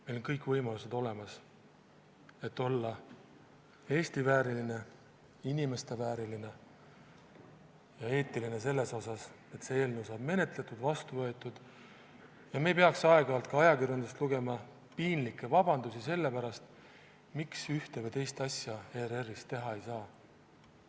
Meil on kõik võimalused olemas, et olla Eesti vääriline, inimeste vääriline ja eetiline, et see eelnõu saaks menetletud ja vastu võetud ning me ei peaks aeg-ajalt ka ajakirjandusest lugema piinlikke vabandusi selle pärast, miks ühte või teist asja ERR-is teha ei saa.